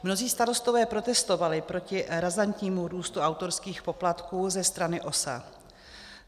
Mnozí starostové protestovali proti razantnímu růstu autorských poplatků ze strany OSA.